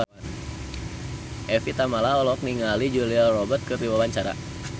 Evie Tamala olohok ningali Julia Robert keur diwawancara